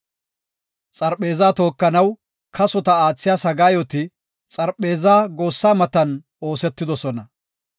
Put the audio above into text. Xarpheeza tookanaw kasota aathiya sagaayoti xarpheezaa goossa matan oosetidosona.